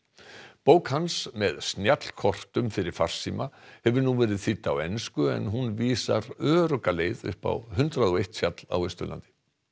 bók hans með snjallkortum fyrir farsíma hefur nú verið þýdd á ensku en hún vísar örugga leið upp á hundrað og eitt fjall á Austurlandi